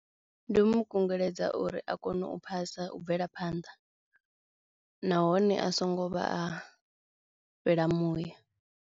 Ndi u mu kungeledza uri a kone u phasa u bvela phanḓa nahone a songo vha a fhela muya.